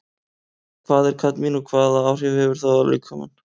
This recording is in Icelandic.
Hvað er kadmín og hvaða áhrif hefur það á líkamann?